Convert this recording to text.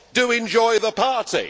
Do enjoy the party.